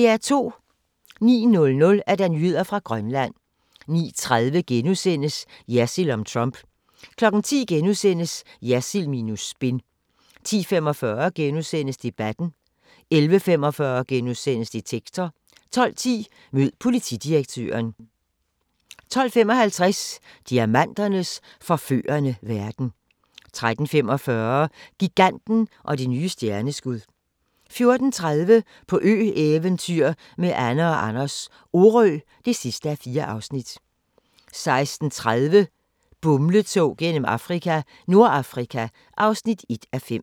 09:00: Nyheder fra Grønland 09:30: Jersild om Trump * 10:00: Jersild minus spin * 10:45: Debatten * 11:45: Detektor * 12:10: Mød politidirektøren 12:55: Diamanternes forførende verden 13:45: Giganten og det nye stjerneskud 14:30: På ø-eventyr med Anne & Anders - Orø (4:4) 16:30: Bumletog gennem Afrika - Nordafrika (1:5)